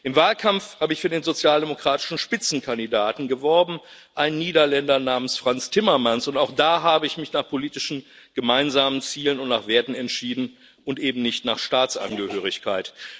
Im Wahlkampf habe ich für den sozialdemokratischen Spitzenkandidaten geworben einen Niederländer namens Frans Timmermans und auch da habe ich mich nach politischen gemeinsamen Zielen und nach Werten entschieden und eben nicht nach Staatsangehörigkeit.